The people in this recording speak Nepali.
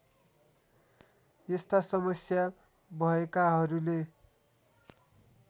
यस्ता समस्या भएकाहरूले